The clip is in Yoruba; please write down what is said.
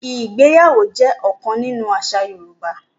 Ìgbéyàwó jẹ́ ọ̀kan nínú àṣà Yorùbá.